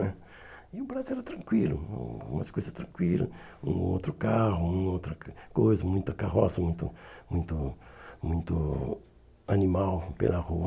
né E o Brasil era tranquilo, um umas coisas tranquilas, um outro carro, uma ou outra co coisa, muita carroça, muito muito muito animal pela rua.